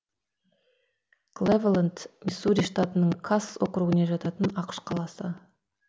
клэвелэнд миссури штатының касс округіне жататын ақш қаласы